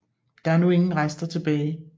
Der er nu ingen rester tilbage